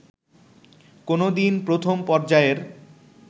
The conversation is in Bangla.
কোনোদিন প্রথম পর্যায়ের